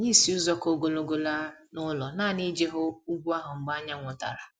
Anyị si ụzọ ka ogologo laa n'ụlọ nanị iji hụ ugwu ahụ mgbe anyanwụ dara